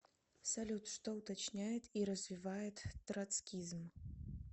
салют что уточняет и развивает троцкизм